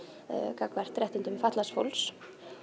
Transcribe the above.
gagnvart réttindum fatlaðs fólks